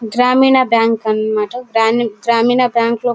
గ్రామీణ బ్యాంకు అన్నమాట. గ్రామీణ్ గ్రామీణ బ్యాంకు లో --